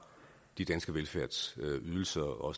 de danske velfærdsydelser og